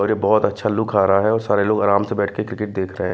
और ये बहुत अच्छा लुक आ रहा हैऔर सारे लोग आराम से बैठ के क्रिकेट रहे--